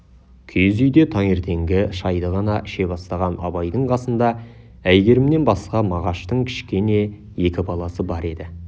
киіз үйде таңертеңгі шайды ғана іше бастаған абайдың қасында әйгерімнен басқа мағаштың кішкене екі баласы бар еді